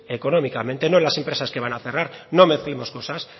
económicamente no las empresas que van a cerrar no mezclemos cosas